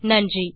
நன்றி